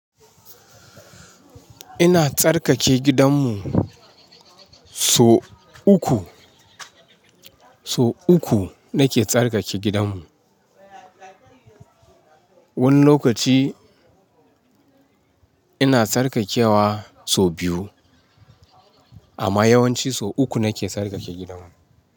Ina tsarkake gidanmu so uku, so uku nake tsarkake gidanmu. Wani lokaci ina tsarkakewa so biyu amma yawanci so uku nake tsarkake gidanmu.